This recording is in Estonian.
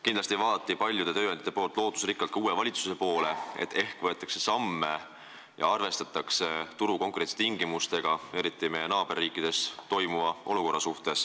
Kindlasti vaatasid paljud tööandjad lootusrikkalt uue valitsuse poole – ehk võetakse samme, arvestades turu konkurentsitingimusi, eriti meie naaberriikides valitsevat olukoda.